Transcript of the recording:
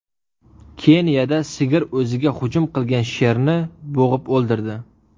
Keniyada sigir o‘ziga hujum qilgan sherni bo‘g‘ib o‘ldirdi.